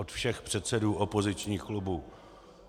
Od všech předsedů opozičních klubů.